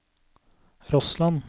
Rossland